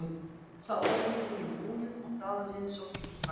Þá opnaði ég munninn og talaði einsog innfæddur